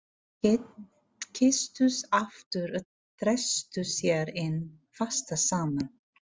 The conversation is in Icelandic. Þau kysstust aftur og þrýstu sér enn fastar saman.